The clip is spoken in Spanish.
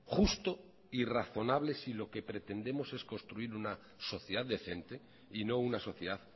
justo y razonable si lo que pretendemos es construir una sociedad decente y no una sociedad